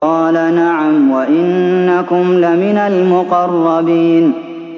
قَالَ نَعَمْ وَإِنَّكُمْ لَمِنَ الْمُقَرَّبِينَ